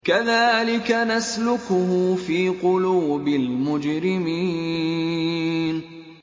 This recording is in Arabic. كَذَٰلِكَ نَسْلُكُهُ فِي قُلُوبِ الْمُجْرِمِينَ